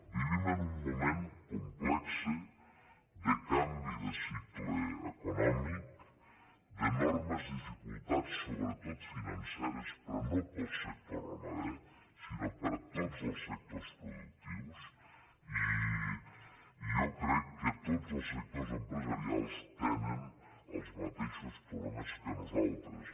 vivim en un moment complex de canvi de cicle econòmic d’enormes dificultats sobretot financeres però no per al sector ramader sinó per a tots els sectors productius i jo crec que tots els sectors empresarials tenen els mateixos problemes que nosaltres